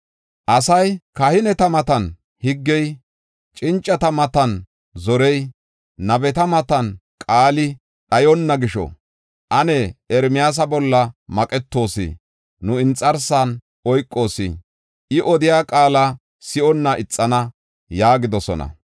Asay, “Kahineta matan higgey, cincata matan zorey, nabeta matan qaali dhayonna gisho ane Ermiyaasa bolla maqetoos. Nu inxarsan oykoos; I odiya qaala si7onna ixana” yaagidosona.